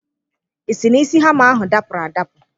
Ị sị na isi hama ahụ dapụrụ adapụ?